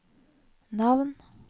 navn